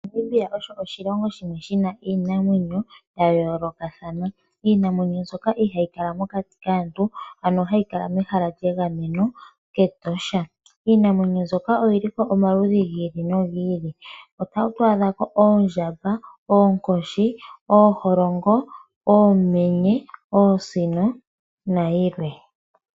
Namibia osho oshilongo shimwe shina iinamwenyo ya yoolokathana. Iinamwenyo mbyoka ihayi kala mokati kaantu ano hayi kala mehala lyegamweno ketosha. Iinamwenyo mbyoka oyilipo omaludhi gi ili nogi ili, otatu adha oondjamba, oonkoshi, ooholongo, oosino nayilwe.